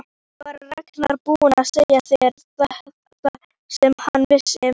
Var Ragnar búinn að segja þér það sem hann vissi?